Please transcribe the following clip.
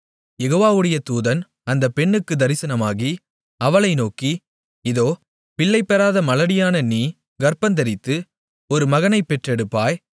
யெகோவாவுடைய தூதன் அந்த பெண்ணுக்குத் தரிசனமாகி அவளை நோக்கி இதோ பிள்ளைபெறாத மலடியான நீ கர்ப்பந்தரித்து ஒரு மகனைப் பெற்றெடுப்பாய்